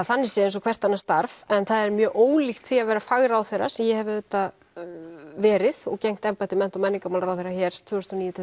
þannig séð eins og hvert annað starf en það er mjög ólíkt því að vera fagráðherra sem ég hef auðvitað verið og gegnt embætti mennta og menningamálaráðherra hér tvö þúsund og níu til